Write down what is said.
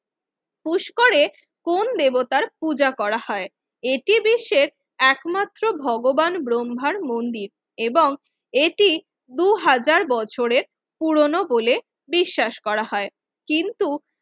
পুষ্করে কোন দেবতার পূজা করা হয় এটি বিশ্বের একমাত্র ভগবান ব্রহ্মার মন্দির এবং এটি দুই হাজার বছরের পুরনো বলে বিশ্বাস করা হয় কিন্তু